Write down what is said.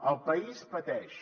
el país pateix